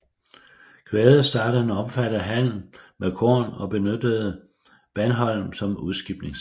Quade startede en omfattede handel med korn og benyttede Bandholm som udskibningshavn